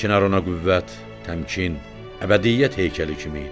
Çinar ona qüvvət, təmkin, əbədiyyət heykəli kimi idi.